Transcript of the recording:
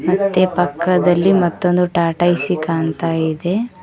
ಮತ್ತೆ ಪಕ್ಕದಲ್ಲಿ ಮತ್ತೊಂದು ಟಾಟಾ ಎ_ಸಿ ಕಾಣ್ತಾ ಇದೆ.